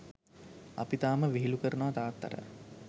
අපි තාම විහිළු කරනව තාත්තට.